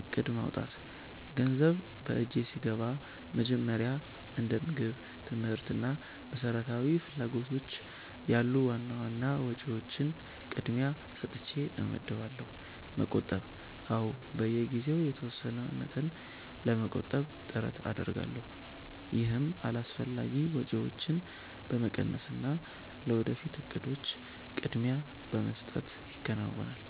እቅድ ማውጣት፦ ገንዘብ በእጄ ሲገባ መጀመሪያ እንደ ምግብ፣ ትምህርት እና መሰረታዊ ፍላጎቶች ያሉ ዋና ዋና ወጪዎችን ቅድሚያ ሰጥቼ እመድባለሁ። መቆጠብ፦ አዎ፣ በየጊዜው የተወሰነ መጠን ለመቆጠብ ጥረት አደርጋለሁ። ይህም አላስፈላጊ ወጪዎችን በመቀነስና ለወደፊት እቅዶች ቅድሚያ በመስጠት ይከናወናል።